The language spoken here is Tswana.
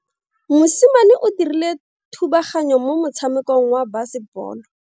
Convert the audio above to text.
Mosimane o dirile thubaganyo mo motshamekong wa basebolo.